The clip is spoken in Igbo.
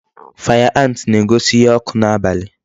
Fire ant na-egosi ihe ọkụ n'abalị.